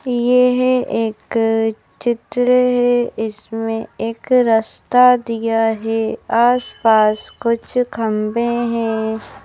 येह एक चित्र है इसमें एक रस्ता दिया है आस-पास कुछ खंबे हैं।